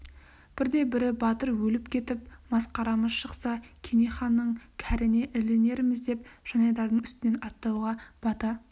бірде-бірі батыр өліп кетіп мас-қарамыз шықса кене ханның кәріне ілінерміз деп жанайдардың үстінен аттауға бата